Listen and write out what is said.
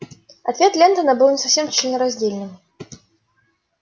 ответ лентона был не совсем членораздельным